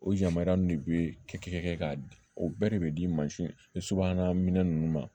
O yamaruyalen de bɛ kɛ k'a di o bɛɛ de bɛ di mansinba minɛn ninnu ma